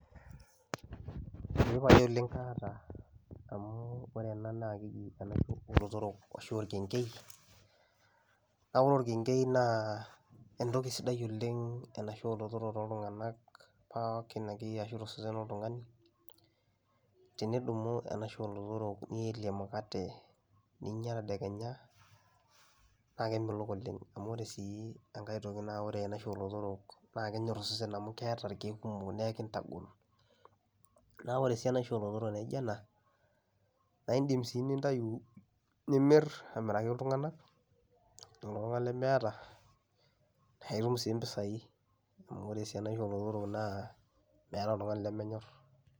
Eeh pae oleng' kaata amu ore ena naake eji enaisho oo lotorok ashuu orkeng'ei, kake ore orkeng'ei naa entoki sidai oleng' enaisho oo lotorok tooltung'anak pookin akeyie ashu to sesen loltung'ani. Tenidumu eniasho oo lotorok nielie emukate ninya tedekenya naake emelok oleng' amu ore sii enkae toki naa ore eniasho oo lotorok naake enyor osesen amu keeta irkeek kumok nae kintagol. Naa ore sii enaisho oo lotorok naijo ena naa iindim sii nintayu nimir amiraki iltung'anak, iltung'ank lemeeta nae itum sii impisai amu ore sii enaisho oo lotorok naa meeta oltung'ani lemenyorr.